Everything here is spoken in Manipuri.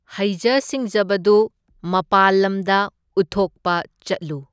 ꯍꯩꯖ ꯁꯤꯡꯖꯕꯗꯨ ꯃꯄꯥꯜ ꯂꯝꯗ ꯎꯠꯊꯣꯛꯄ ꯆꯠꯂꯨ꯫